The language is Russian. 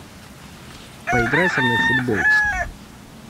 поиграй со мной в футбол